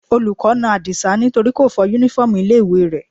Olùkọ́ na Adisa nítorí kò fọ uniform ilé ìwé rẹ̀.